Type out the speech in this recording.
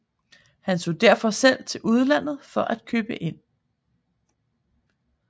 Han tog derfor selv til udlandet for at købe ind